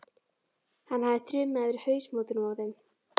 Hann hefði þrumað yfir hausamótunum á þeim.